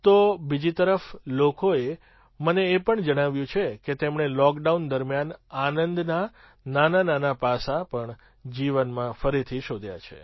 તો બીજી તરફ લોકોએ મને એ પણ જણાવ્યું છે કે તેમણે લૉકડાઉન દરમિયાન આનંદનાં નાનાનાનાં પાસાં પણ જીવનમાં ફરીથી શોધ્યાં છે